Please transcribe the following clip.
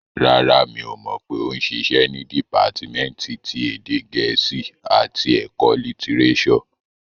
Rárá, mi ò pé ó ń ṣiṣẹ́ ní dìpátímẹ́ǹtì ti èdè gẹ̀ẹ́sì àti ẹ̀kọ́ litirẹ́sọ̀